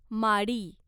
माडी